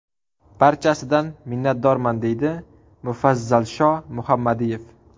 Barchasidan minnatdorman”, deydi Mufazzalsho Muhammadiyev.